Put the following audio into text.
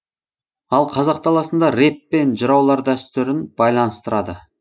ал қазақ даласында рэп пен жыраулар дәстүрін байланыстырады